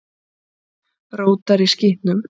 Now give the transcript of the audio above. Rótar í skítnum.